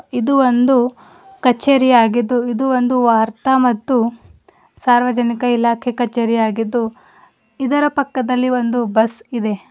ಇದು ಒಂದು ಕಚೇರಿಯಾಗಿದ್ದು ಇದು ಒಂದು ವಾರ್ತಾ ಮತ್ತು ಸಾರ್ವಜನಿಕ ಇಲಾಖೆ ಕಚೇರಿಯಾಗಿದ್ದು ಇದರ ಪಕ್ಕದಲ್ಲಿ ಒಂದು ಬಸ್ ಇದೆ.